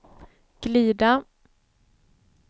glida